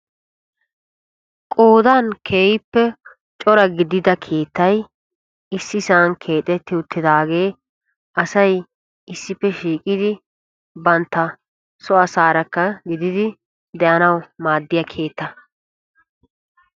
Qoodan keehippe cora gidida keettay issisan keexetti uttidaage asay issippe shiiqidi bantta so asaarakka de'anawu maaddiya keetta.